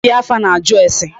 Dibịa afa na-ajụ ase.